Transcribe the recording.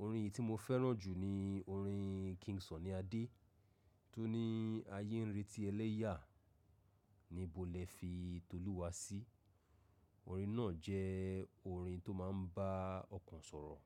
Orin èyí tí mo fẹ́ràn jù ni orin King Sunny Adé tó ní “Ayé ń retí ẹlẹ́yà níbo lẹ̀ fi Tolúwa sí”. Orin náà jẹ́ orin tó máa ń bá ọkàn sọ̀rọ̀.